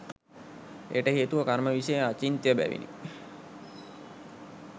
එයට හේතුව කර්ම විෂය අචින්ත්‍ය බැවිනි.